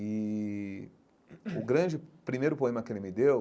E o grande primeiro poema que ele me deu